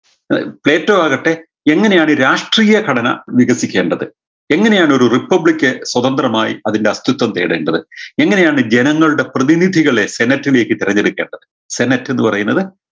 അഹ് Plato ആകട്ടെ എങ്ങനെയാണ് രാഷ്ട്രീയ ഘടന നിരസിക്കേണ്ടത് എങ്ങനെയാണ് ഒരു republic സ്വതന്ത്രമായി അതിൻറെ അസ്ഥിത്വം തേടേണ്ടത് എങ്ങനെയാണ് ജനങ്ങളുടെ പ്രതിനിധികളെ sennett ലേക്ക് തിരഞ്ഞെടുക്കേണ്ടത് sennett എന്ന് പറയുന്നത്